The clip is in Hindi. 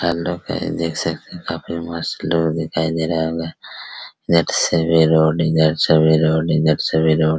हेलो गाइस देख सकते हैं काफी मस्त लुक दिखाई दे रहा होगा | देख सभी रोड इधर सभी रोड इधर सभी रोड --